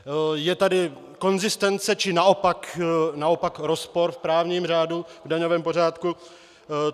Je tady konzistence, či naopak rozpor v právním řádu, v daňovém pořádku?